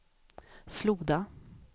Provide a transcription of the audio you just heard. Floda